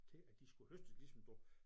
Til at de skulle høstes ligesom du